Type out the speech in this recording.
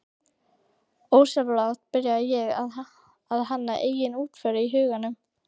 Ósjálfrátt byrja ég að hanna eigin útför í huganum